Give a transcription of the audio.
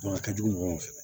a ka jugu mɔgɔw fɛ